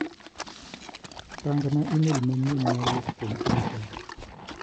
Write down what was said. Rang'na imel manyien ma owuok kuom Asha.